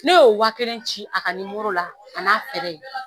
Ne y'o wa kelen ci a ka ni la a n'a